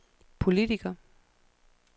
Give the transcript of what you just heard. politiker